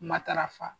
Matarafa